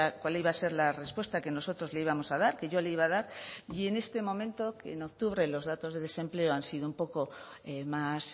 cuál iba a ser la respuesta que nosotros le íbamos a dar que yo le iba a dar y en este momento que en octubre los datos de desempleo han sido un poco más